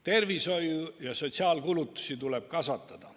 Tervishoiu- ja sotsiaalkulutusi tuleb kasvatada.